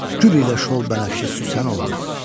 Gül ilə şol bənəfşə süsən oldu.